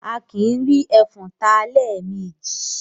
Akìí rí ẹfọ̀n ta lẹ́ẹ̀ mejì